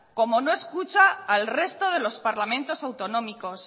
como no escucha al resto de los parlamentos autonómicos